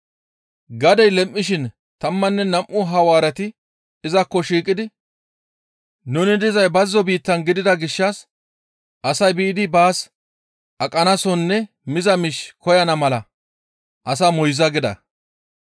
Gadey lem7ishin tammanne nam7u Hawaareti izakko shiiqidi, «Nuni dizay bazzo biittan gidida gishshas asay biidi baas aqanasonne miza miish koyana mala asaa moyza» gida.